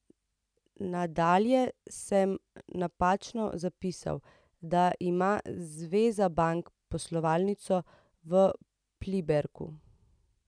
Nadalje sem napačno zapisal, da ima Zveza bank poslovalnico v Pliberku.